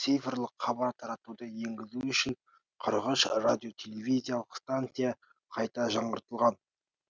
ал цифрлық хабар таратуды енгізу үшін радиотелевизиялық станция қайта жаңғыртылған